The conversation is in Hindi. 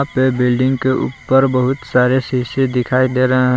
ये बिल्डिंग के ऊपर बहुत सारे शीशे दिखाई दे रहे हैं।